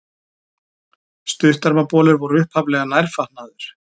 Stuttermabolir voru upphaflega nærfatnaður.